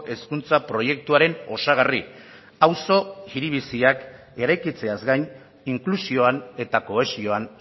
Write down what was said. hezkuntza proiektuaren osagarri auzo hiri biziak eraikitzeaz gain inklusioan eta kohesioan